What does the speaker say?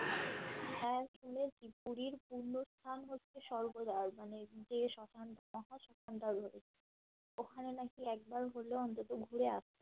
পুরীর পুণ্যস্থান হচ্ছে স্বর্গরাজ মানে যে শ্মশান শ্মশানটা ঐভাবে ওখানে নাকি একবার গেলে অন্তত ঘুরে আসতে হয়